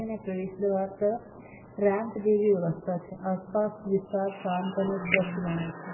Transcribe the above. અને પ્રવેશ દ્વાર તરફ રેમ્પ જેવી વ્યવસ્થા છે આસપાસ વિસ્તાર શાંત અને સ્વચ્છ જણાય છે.